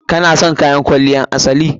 Ki/ka na son kayan kwaliyar asali?